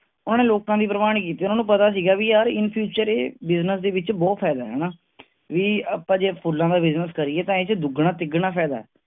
ਉਹਨੇ ਲੋਕਾਂ ਦੀ ਪ੍ਰਵਾਹ ਨੀ ਕੀਤੀ, ਉਹਨੂੰ ਪਤਾ ਸੀ ਵੀ ਯਾਰ in future ਇੱਹ business ਦੇ ਵਿਚ ਬਹੁਤ ਫਾਇਦਾ ਹੈ ਹਣਾ ਵੀ ਆਪਾਂ ਜੇ ਫੁਲਾਂ ਦਾ business ਕਰੀਏ ਤਾਂ ਇਹਦੇ ਚ ਦੁਗਣਾ- ਤਿਗਣਾ ਫਾਇਦੇ